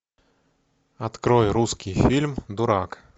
открой русский фильм дурак